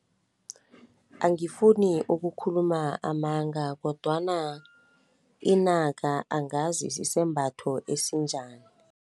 Angifuni ukukhuluma amanga kodwana inaka angazi sisembatho esinjani.